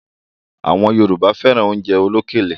Àwọn Yorùbá fẹ́ran oúnjẹ olókèlè